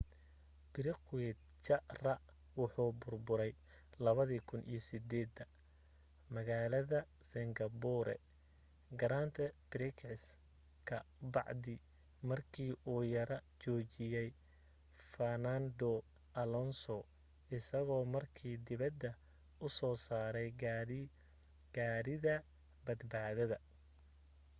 piquet jr wuxuu burburay 2008 magalada singapore grand prix ka bacdi marki uu yara joojiyey fernando alonso isago marka dibada u soo saray gaadhiga badbaadada